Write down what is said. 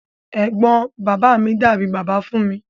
Ẹgbọn bàbá mi dàbí bàbá fún mi.